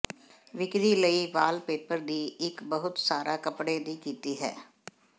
ਵਿਕਰੀ ਲਈ ਵਾਲਪੇਪਰ ਦੀ ਇੱਕ ਬਹੁਤ ਸਾਰਾ ਕੱਪੜੇ ਦੀ ਕੀਤੀ ਹੈ